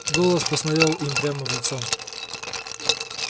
голос посмотрел им прямо в лицо